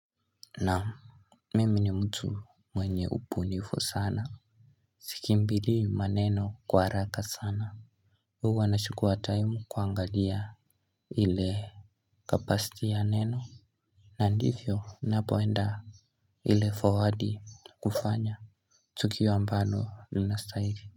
Naam. Mimi ni mtu mwenye ubunifu sana. Sikimbilii maneno kwa haraka sana. Huwa nachukua time kuangalia. Ile kapasiti ya neno. Na ndivyo ninapoenda. Ile forwardi kufanya tukio ambalo linastahili.